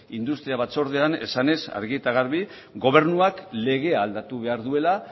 industria batzordean esanez argi eta garbi gobernuak legea aldatu behar duela